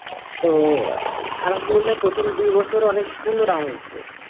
তো আহ Arbi প্রথম দুই বছর অনেক সুন্দর আম হয়েসে